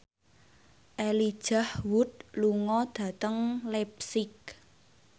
Elijah Wood lunga dhateng leipzig